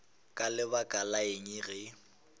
ka lebaka la eng ge